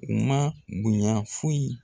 U ma bonya foyi